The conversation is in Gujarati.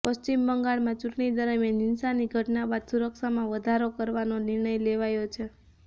પશ્વિમ બંગાળમાં ચૂંટણી દરમ્યાન હિંસાની ઘટના બાદ સુરક્ષામાં વધારો કરવાનો નિર્ણય લેવાયો છે